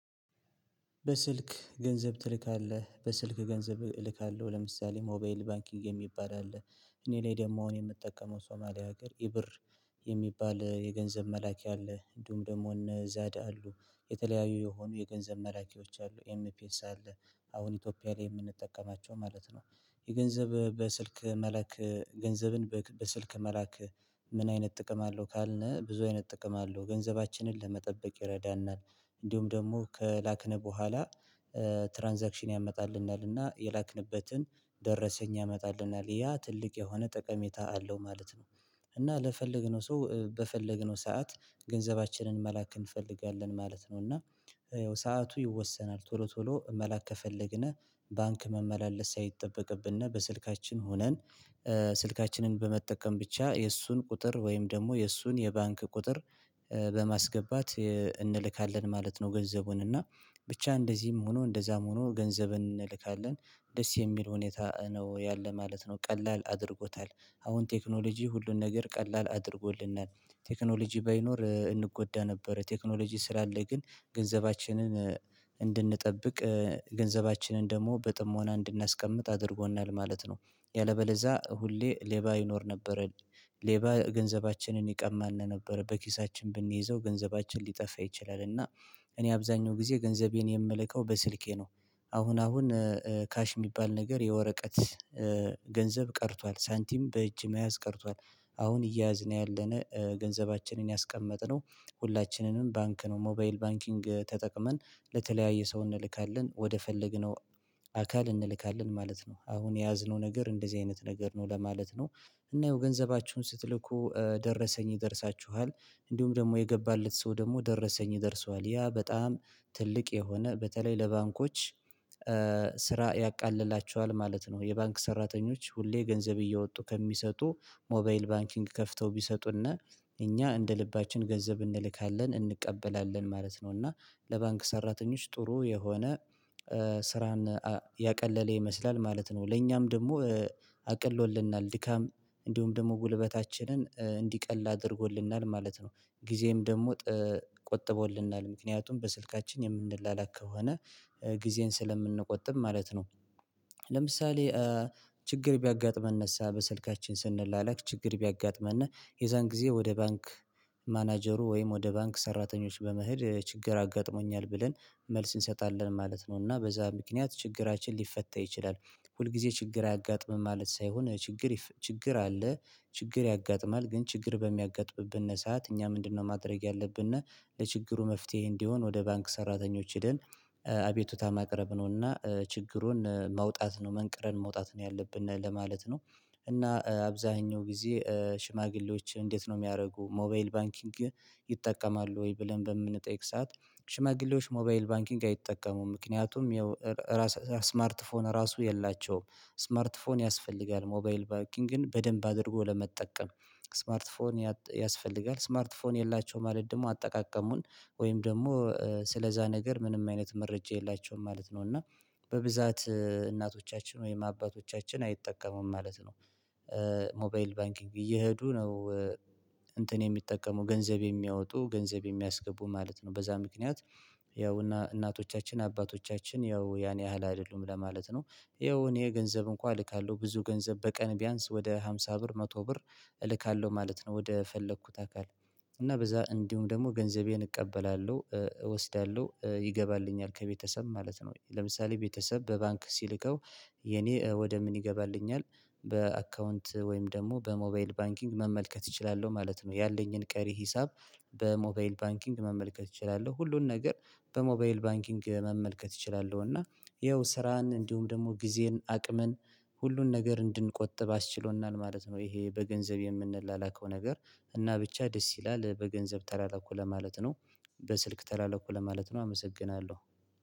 በስልክ ገንዘብ ትልካለህ በስልክ ገንዘብ እልካለሁ ለምሳሌ ሞባይል ባንኪንግ የሚባል አለ እኔ ላይ ደግሞ እኔ የምጠቀመው ሶማሊያ ሀገር ኢብር የሚባል የገንዘብ መላኪ አለ እንዲሁም ደግሞ እነ ዛድ አሉ የተለያዩ የሆኑ የገንዘብ መላኪዎች አሉ ኤምፒኤስ አለ አሁን ኢትዮጵያ ላይ የምንጠቀማቸው ማለት ነው። የገንዘብ በስልክ መላክ ገንዘብን በስልክ መላክ? ምን አይነት ጥቅም አለው ካልነህ ብዙ አይነት ጥቅም አለው ገንዘባችንን ለመቆጠበቅ ይረዳናል። እንዲሁም ደግሞ ከላክን በኋላ ትራንዛክሽን ያመጣልናልና የላክንበትን ደረሰኝ ያመጣልናል ያ ትልቅ የሆነ ጠቀሜታ አለው ማለት ነው። እና ለፈለግነው ሰው በፈለግነው ሰዓት ገንዘባችንን መላክ እንፈልጋለን ማለት ነው። እና ያው ሰዓቱ ይወሰናል ቶሎ ቶሎ መላክ ከፈለግን ባንክ መመላለስ ሳይጠበቅብንና በስልካችን ሆነን። ስልካችንን በመጠቀም ብቻ የእሱን ቁጥር ወይም ደግሞ የእሱን የባንክ ቁጥር በማስገባት እንልካለን ማለት ነው። ገንዘቡን እና ብቻ እንደዚህም ሆኖ እንደዛም ሆኖ ገንዘብን እንልካለን። ደስ የሚል ሁኔታ ነው ያለ ማለት ነው ቀላል አድርጎታል። አሁን ቴክኖሎጂ ሁሉን ነገር ቀላል አድርጎልናል። ቴክኖሎጂ ባይኖር እንጎዳ ነበር። ቴክኖሎጂ ስላለ ግን ገንዘባችንን እንድንጠብቅ ገንዘባችንን ደግሞ በጥሞና እንድናስቀምጥ አድርጎናል ማለት ነው። ያለበለዛ ሁሌ ሌባ ይኖር ነበር። ሌባ ገንዘባችንን ይቀማል ነበር በኪሳችን ብንይዘው ገንዘባችን ሊጠፋ ይችላል እና። እኔ አብዛኛው ጊዜ ገንዘቤን የምልከው በስልኬ ነው። አሁን አሁን ካሽ የሚባል ነገር የወረቀት ገንዘብ ቀርቷል ሳንቲም በእጅ መያዝ ቀርቷል። አሁን እያዝን ያለነ ገንዘባችንን አስቀመጥነው። ሁላችንንም ባንክ ነው ሞባይል ባንኪንግ ተጠቅመን ለተለያየ ሰው እንልካለን ወደ ፈለግነው አካል እንልካለን ማለት ነው። አሁን የያዝነው ነገር እንደዚህ አይነት ነገር ነው ለማለት ነው። እና ይሄው ገንዘባችሁን ስትልኩ ደረሰኝ ይደርሳችኋል። እንዲሁም ደግሞ የገባለት ሰው ደግሞ ደረሰኝ ይደርሰዋል ያ በጣም ትልቅ የሆነ በተለይ ለባንኮች ስራ ያቃልላቸዋል ማለት ነው። የባንክ ሰራተኞች ሁሌ ገንዘብ እየወጡ ከሚሰጡ ሞባይል ባንኪንግ ከፍተው ቢሰጡና እኛ እንደ ልባችን ገንዘብ እንልካለን እንቀበላለን ማለት ነው። እና ለባንክ ሰራተኞች ጥሩ የሆነ ስራን ያቀለለ ይመስላል ማለት ነው። ለኛም ደግሞ አቅሎልናል ድካም እንዲሁም ደግሞ ጉልበታችንን እንዲቀል አድርጎልናል ማለት ነው። ጊዜም ደግሞ ቆጥቦልናል ምክንያቱም በስልካችን የምንላላክ ከሆነ ጊዜን ስለምንቆጥም ማለት ነው። ለምሳሌ ችግር ቢያጋጥመን እሳ በስልካችን ስንላለክ ችግር ቢያጋጥመን የዛን ጊዜ ወደ ባንክ ማናጀሩ ወይም ወደ ባንክ ሰራተኞች በመሄድ ችግር አጋጥሞኛል ብለን መልስ እንሰጣለን ማለት ነው እና በዛ ምክንያት ችግራችን ሊፈታ ይችላል። ሁልጊዜ ችግር አያጋጥሞናል ማለት ሳይሆን ችግር ችግር አለ። ችግር ያጋጥማል ግን ችግር በሚያጋጥምብን ሰዓት እኛ ምንድነው ማድረግ ያለብንና? ለችግሩ መፍትሄ እንዲሆን ወደ ባንክ ሰራተኞች ሄደን አቤቱታማ ማቅረብ ነውና ችግሩን መውጣት ነው መንቅረን መውጣት ነው ያለብን ለማለት ነው። እና አብዛኛው ጊዜ ሽማግሌዎች እንዴት ነው የሚያደርጉ ሞባይል ባንኪንግ? ይጠቀማሉ ወይ ብለን በምንጠይቅ በምንጠይቅሳት ሽማግሌዎች ሞባይል ባንኪንግ አይጠቀሙም ምክንያቱም የራስ ስማርት ስማርት ራሱ የላቸውም። ስማርት ፎን ያስፈልጋል ሞባይል ባኪንግን በደንብ አድርጎ ለመጠቀም። ስማርት ፎን ያስፈልጋል ስማርት ፎን የላቸውም ማለት ደግሞ አጠቃቀሙን ወይም ደግሞ ስለዛ ነገር ምንም አይነት መረጃ የላቸውም ማለት ነው። እና በብዛት እናቶቻችን ወይም አባቶቻችን አይጠቀሙም ማለት ነው። ሞባይል ባንኪንግ እየሄዱ ነው። እንትን የሚጠቀሙ ገንዘብ የሚያወጡ ገንዘብ የሚያስገቡ ማለት ነው በዛ ምክንያት ያው እናቶቻችን አባቶቻችን ያው ያን ያህል አይደሉም ለማለት ነው። ያው ገንዘብ እንኳን እልካለሁ ብዙ ገንዘብ በቀን ቢያንስ ወደ ሃምሳ ብር መቶ ብር እልካለሁ ማለት ነው። ወደ ፈለኩት አካል እና በዛ እንዲሁም ደግሞ ገንዘቤን እቀበላለሁ እወስዳለሁ ይገባልኛል ከቤተሰብ ማለት ነው። ለምሳሌ ቤተሰብ በባንክ ሲልከው የኔ ወደ ምን ይገባልኛል? በአካውንት ወይም ደግሞ በሞባይል ባንኪንግ መመልከት እችላለሁ ማለት ነው። ያለኝን ቀሪ ሂሳብ። በሞባይል ባንኪንግ መመልከት እችላለሁ ሁሉን ነገር በሞባይል ባንኪንግ መመልከት እችላለሁ። እና ይኸው ስራን እንዲሁም ደግሞ ጊዜን አቅምን ሁሉን ነገር እንድንቆጥብ አስችሎናል ማለት ነው። ይሄ በገንዘብ የምንላላከው ነገር እና ብቻ ደስ ይላል በገንዘብ ተላላኩ ለማለት ነው። በስልክ ተላላኩ ለማለት ነው አመሰግናለሁ።